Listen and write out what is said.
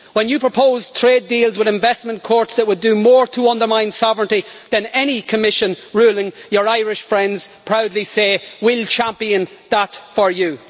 When you proposed trade deals with investment courts that would do more to undermine sovereignty than any Commission ruling, your Irish friends proudly say we'll champion that for you'.